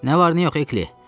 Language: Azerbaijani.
Nə var, nə yox, Ekli?